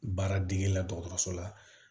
Baara degeli la dɔgɔtɔrɔso la